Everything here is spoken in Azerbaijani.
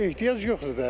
Heç ehtiyac yoxdur da.